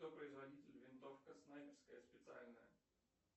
кто производитель винтовка снайперская специальная